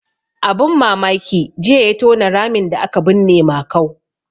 Abun mamaki jiya ya tona ramin da aka binne Makau.